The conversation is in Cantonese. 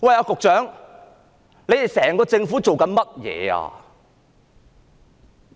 局長，整個政府在做甚麼？